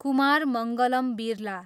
Kumar Mangalam Birla